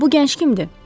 Bu gənc kimdir?